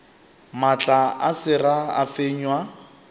maatla a sera a fenywa